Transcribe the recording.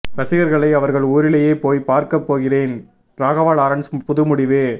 ரசிகர்களை அவர்கள் ஊரிலேயே போய் பார்க்க போகிறேன் ராகவா லாரன்ஸ் புது முடிவு